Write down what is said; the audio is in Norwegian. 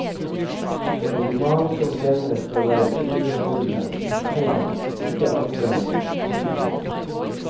En roman som denne skal være underholdende, komma ikke anstrengende. punktum